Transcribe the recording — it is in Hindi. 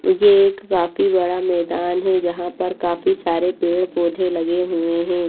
ये एक काफी बड़ा मैदान है जहां पर काफी सारे पेड़ पौधे लगे हुए हैं।